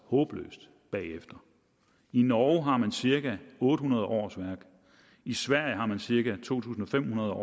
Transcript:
håbløst bagefter i norge har man cirka otte hundrede årsværk i sverige har man cirka to tusind fem hundrede